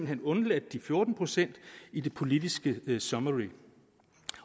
hen undladt de fjorten procent i det politiske summary